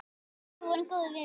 Við afi vorum góðir vinir.